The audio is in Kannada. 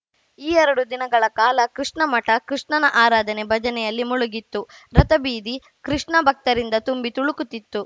ಈ ಎರಡು ದಿನಗಳ ಕಾಲ ಕೃಷ್ಣಮಠ ಕೃಷ್ಣನ ಆರಾಧನೆಭಜನೆಯಲ್ಲಿ ಮುಳುಗಿತ್ತು ರಥಬೀದಿ ಕೃಷ್ಣ ಭಕ್ತರಿಂದ ತುಂಬಿ ತುಳುಕುತ್ತಿತ್ತು